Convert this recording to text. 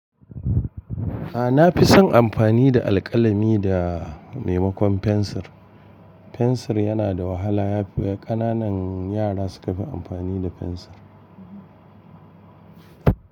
A'a, na fi son amfani da alƙalami da maimakon fensir. Fensir yana da wahala yafi ƙananan yara suka fi amfani da fensir.